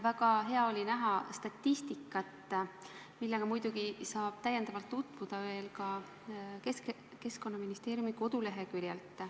Väga hea oli näha statistikat, millega muidugi saab lähemalt tutvuda ka Keskkonnaministeeriumi koduleheküljel.